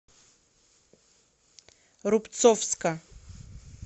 рубцовска